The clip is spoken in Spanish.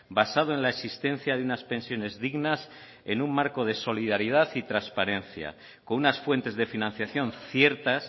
basado en la existencia de unas pensiones dignas en un marco de solidaridad y transparencia con unas fuentes de financiación ciertas